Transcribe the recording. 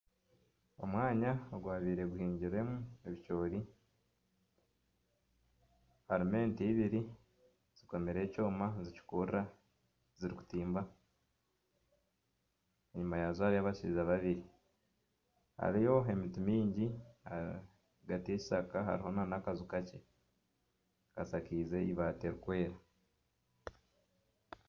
Omwanya ogwabaire guhingirwemu ebicoori, harimu ente ibiri zikomireho ekyoma nizikurura zirikutimba. Enyima yaazo hariyo abashaija babiri. Hariyo emiti mingi, ahagati y'ekishaka hariho n'akaju kakye kashakaize eibaati ririkwera.